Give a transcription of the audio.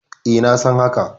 E, na san haka.